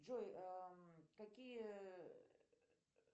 джой какие